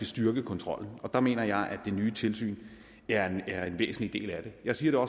styrke kontrollen der mener jeg at det nye tilsyn er er en væsentlig del af det jeg siger